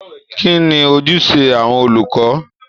Kí ni ojúṣe àwọn olùkọ́?